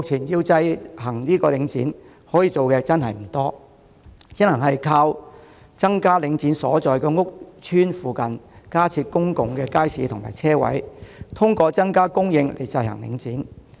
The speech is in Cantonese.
由此可見，目前可以制衡領展的方法不多，只能靠在領展所在屋邨附近加設公共街市和車位，透過增加供應制衡領展。